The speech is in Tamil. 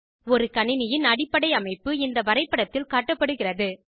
ஒரு கணினியின் அடைப்படை அமைப்பு இந்த வரைப்படத்தில் காட்டப்படுகிறது